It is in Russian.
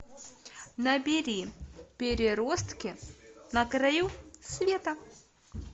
набери переростки на краю света